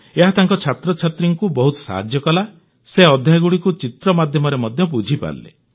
ଏହା ତାଙ୍କ ଛାତ୍ରଛାତ୍ରୀଙ୍କୁ ବହୁତ ସାହାଯ୍ୟ କଲା ସେ ଅଧ୍ୟାୟଗୁଡ଼ିକୁ ଚିତ୍ର ମାଧ୍ୟମରେ ମଧ୍ୟ ବୁଝିପାରିଲେ